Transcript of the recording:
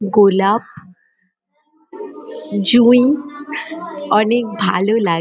গোলাপ জুঁই অনেক ভালো লা--